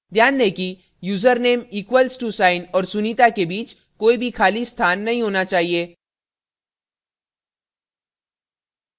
ध्यान दें कि username equal to साइन और sunita के बीच कोई भी खाली स्थान नहीं होना चाहिए